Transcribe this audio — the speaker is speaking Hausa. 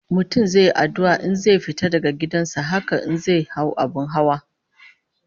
Mutum zai yi addu'a idan zai fita daga gidan sa, haka in zai hau abin hawa